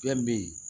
Fɛn be ye